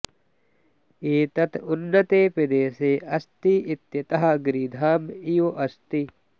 एतत् उन्नते प्रदेशे अस्ति इत्यतः गिरिधाम इव अस्ति